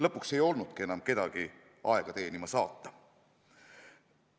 Lõpuks ei olnudki enam kedagi aega teenima saata.